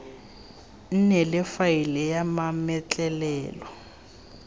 nne le faele ya mametlelelo